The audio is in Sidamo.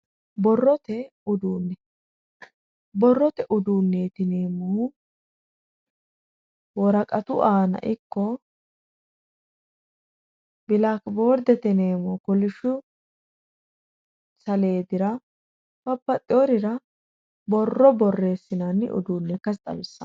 Borrore uduune, borrote uduunti yineemmohu worqatu aana ikko bilakibordete yineemmo kolisho saledira babbaxeworira borro borreessinanni uduune ikkasi xawisano.